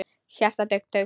Hjartað dunk dunk.